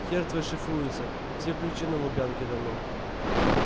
хер твой шифруется все ключи на лубянке давно